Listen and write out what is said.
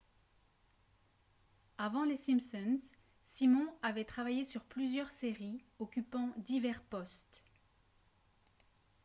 avant les simpsons simon avait travaillé sur plusieurs séries occupant divers postes